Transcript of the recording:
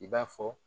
I b'a fɔ